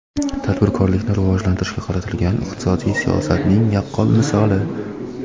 tadbirkorlikni rivojlantirishga qaratilgan iqtisodiy siyosatning yaqqol misoli.